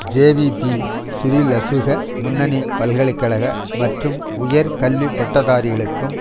JVP ஸ்ரீலசுக முன்னணி பல்கலை கழக மற்றும் உயர் கல்வி பட்டதாரிகளுக்கும்